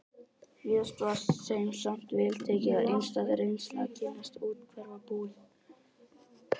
Víðast var þeim samt vel tekið og einstæð reynsla að kynnast úthverfabúum